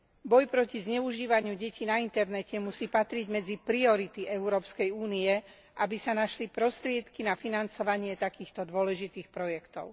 Boj proti zneužívaniu detí na internete musí patriť medzi priority Európskej únie, aby sa našli prostriedky na financovanie takýchto dôležitých projektov.